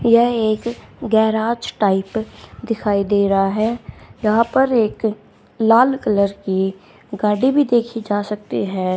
यह एक garage type दिखाई दे रहा है यहां पर एक लाल कलर की गाड़ी भी देखी जा सकते हैं।